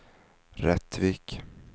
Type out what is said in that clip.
Rättvik